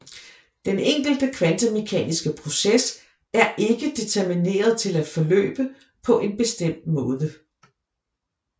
Den enkelte kvantemekaniske proces er ikke determineret til at forløbe på en bestemt måde